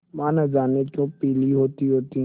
माँ न जाने क्यों पीली होतीहोती